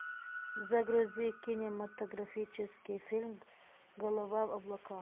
загрузи кинематографический фильм голова в облаках